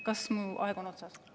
" Kas mu aeg on otsas?